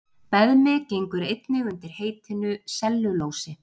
Beðmi gengur einnig undir heitinu sellulósi.